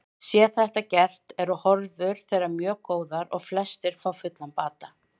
Sé þetta gert eru horfur þeirra mjög góðar og flest fá fullan bata.